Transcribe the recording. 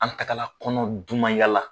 An tagala kɔnɔ dumaya la.